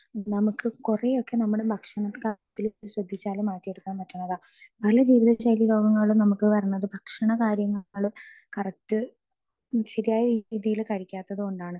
speaker 2 നമുക്ക് കുറെയൊക്കെ നമ്മടെ ഭക്ഷണ കാര്യങ്ങൾ ശ്രദ്ധിച്ചാൽ മാറ്റിയെടുക്കാൻ പറ്റുന്നതാ പല ജീവിതശൈലി രോഗങ്ങളും നമുക്ക് വരണത് ഭക്ഷണകാര്യങ്ങൾ കറക്റ്റ് ശരിയായ രീതിയില് കഴിക്കാത്തത് കൊണ്ടാണ്